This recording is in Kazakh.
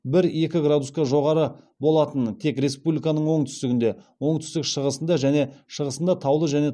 бір екі градусқа жоғары болатынын тек республиканың оңтүстігінде оңтүстік шығысында және шығысында таулы және